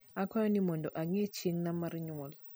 akwayo ni mondo ange chiengna mar nyuol